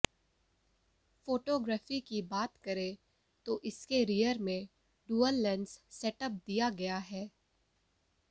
photography की बात करें तो इसके रियर में डुअल लेंस सेटअप दिया गया है